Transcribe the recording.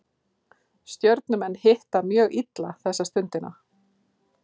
Stjörnumenn hitta mjög illa þessa stundina